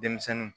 Denmisɛnninw